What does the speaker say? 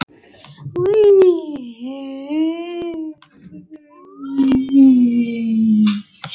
Þetta var andstyggð ljótleikans á eigin spegilmynd.